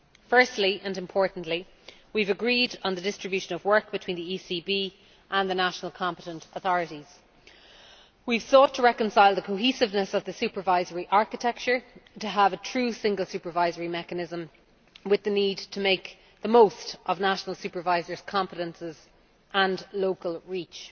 Firstly and importantly we have agreed on the distribution of work between the ECB and the national competent authorities. We have sought to reconcile the cohesiveness of the supervisory architecture to have a true Single Supervisory Mechanism with the need to make the most of national supervisors' competences and local reach.